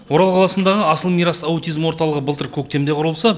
орал қаласындағы асыл мирас аутизм орталығы былтыр көктемде құрылса